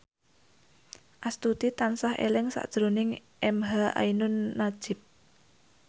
Astuti tansah eling sakjroning emha ainun nadjib